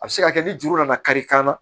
A bɛ se ka kɛ ni juru nana kari kan na